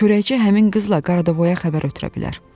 Çörəkçi həmin qızla Qaradobaya xəbər ötürə bilər.